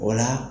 O la